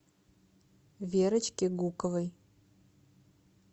верочке гуковой